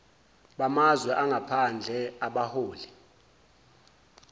bamazwe angaphandle abaholi